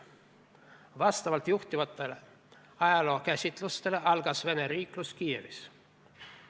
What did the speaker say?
Vastavalt juhtivatele ajalookäsitustele algas Vene riiklus Kiievis.